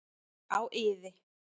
Á iði.